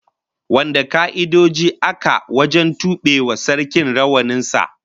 Wane ka'idoji aka wajen tube wa Sarkin rawanin sa?